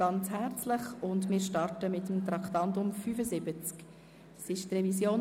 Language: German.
– Wir beginnen mit der ersten Lesung der SHG-Revision.